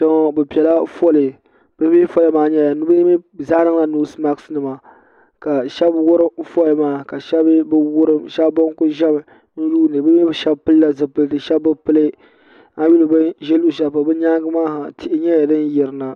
niriba bɛ pɛla ƒɔli be mi ƒɔli maa ni be mi zaa niŋ la nosimaki nima ka shɛbi wurim ƒɔli maa ka shɛbi be wurim shɛbi ban kuli ʒɛmi ka yuniba shɛbi pɛli zipɛlitɛ shɛbi be pɛli an nyɛ bɛn ʒɛ luɣishɛli tihi nyɛla dim ʒɛya ha